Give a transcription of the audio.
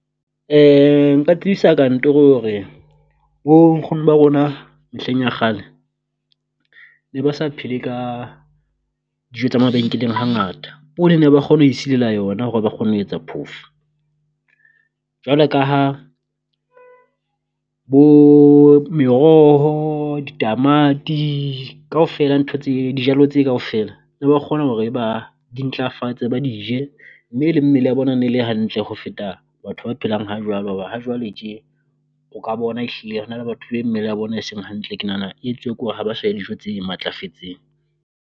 Nka tlisa kantoro hore bo nkgono ba rona mehleng ya kgale ne ba sa phele ka dijo tsa mabenkeleng hangata, poone ne ba kgona ho e silela yona hore ba kgone ho etsa phofo. Jwalew ka ha bo meroho ditamati kaofela ntho tse dijalo tse kaofela ne ba kgona hore ba di ntlafatse ba di je, mme le mmele ya bona ne e le hantle ho feta batho ba phelang hajwalo hoba hajwale tje o ka bona ehlile re na le batho be mmele ya bona e seng hantle, ke nahana e etsuwa kore ha ba sa dijo tse matlafetseng.